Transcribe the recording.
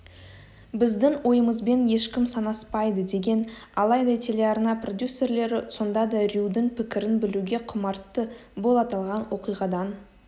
біздің ойымызбен ешкім санаспайдыдеген алайда телеарна продюсерлері сонда да рьюдің пікірін білуге құмартты бұл аталған оқиғадан